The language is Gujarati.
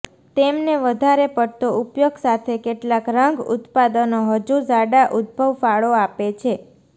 તેમને વધારે પડતો ઉપયોગ સાથે કેટલાક રંગ ઉત્પાદનો હજુ ઝાડા ઉદભવ ફાળો આપે છે